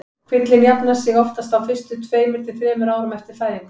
Kvillinn jafnar sig oftast á fyrstu tveimur til þremur árum eftir fæðingu.